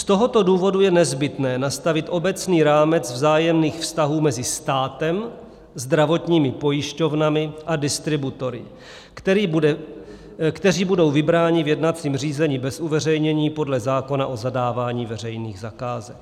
Z tohoto důvodu je nezbytné nastavit obecný rámec vzájemných vztahů mezi státem, zdravotními pojišťovnami a distributory, kteří budou vybráni v jednacím řízení bez uveřejnění podle zákona o zadávání veřejných zakázek.